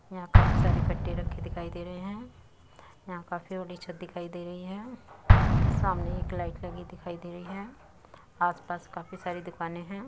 यहाँ काफी सारे कट्टे रखे दिखाई दे रहे हैं। यहाँ काफी बड़ी छत दिखाई दे रही है। सामने एक लाइट लगी दिखाई दे रही है आस पास काफी सारी दुकाने हैं।